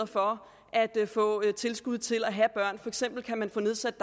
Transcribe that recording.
for at få tilskud til at have børn for eksempel kan man få nedsat